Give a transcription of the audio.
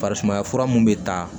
Farisumaya fura mun bɛ taa